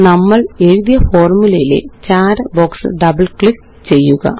നമ്മളെഴുതിയ ഫോര്മുലയിലെ ചാര ബോക്സില് ഡബിള് ക്ലിക്ക് ചെയ്യുക